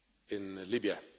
in Libya.